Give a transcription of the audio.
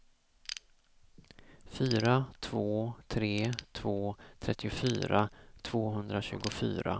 fyra två tre två trettiofyra tvåhundratjugofyra